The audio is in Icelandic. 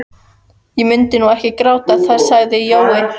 Ég mundi nú ekki gráta það sagði Jói.